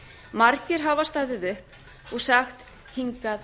margir hafa staðið upp og sagt hingað